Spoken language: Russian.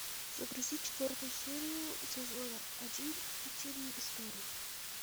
загрузи четвертую серию сезона один утиные истории